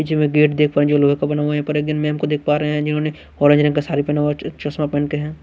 पीछे में गेट देख पा रहे लोहे का बना हुआ है। यहाँ पर एक मैम को देख पा रहे है जिन्होंने ऑरेंज रंग का साड़ी पहना हुआ है च चश्मा पहन ते हैं।